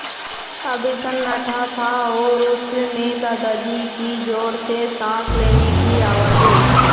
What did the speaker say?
अब सन्नाटा था और उस में दादाजी की ज़ोर से साँस लेने की आवाज़ें